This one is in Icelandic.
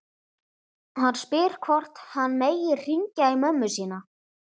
Hann spyr hvort hann megi hringja í mömmu sína.